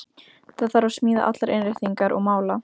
Það þarf að smíða allar innréttingar og mála.